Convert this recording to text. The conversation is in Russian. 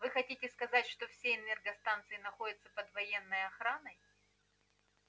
вы хотите сказать что все энергостанции находятся под военной охраной